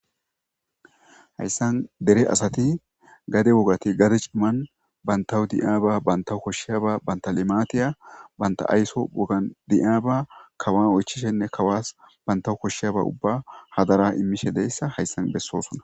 hayssan dere asati gade wogati gade cimman bantawu di7aaba banta koshsheyaba bantalematiya banta ayso wogan di7aaba kawa oychishenne kawaas banta koshsheyaba ubba hadara immishe deyssa hayssan bessoosona